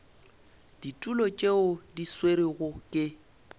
ditulo tšeo di swerwego ke